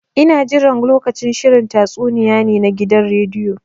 Ina jiran lokacin shirin tatsuniya ne na gidan rediyo.